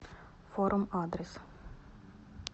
форум адрес